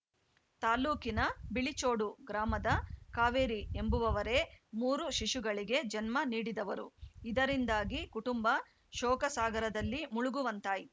ತಾಲೂಕಿನ ಬಿಳಿಚೋಡು ಗ್ರಾಮದ ಕಾವೇರಿ ಎಂಬುವವರೇ ಮೂರು ಶಿಶುಗಳಿಗೆ ಜನ್ಮ ನೀಡಿದವರುಇದರಿಂದಾಗಿ ಕುಟುಂಬ ಶೋಕಸಾಗರದಲ್ಲಿ ಮುಳುಗುವಂತಾಯಿ